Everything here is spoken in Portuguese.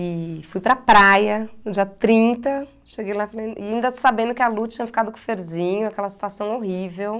E fui para a praia, no dia trinta, cheguei lá, falei, e ainda sabendo que a Lu tinha ficado com o Ferzinho, aquela situação horrível.